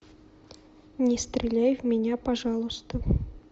не стреляй в меня пожалуйста